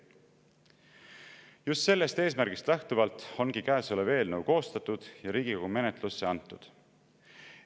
Just sellest eesmärgist lähtuvalt ongi käesolev eelnõu koostatud ja Riigikogu menetlusse antud.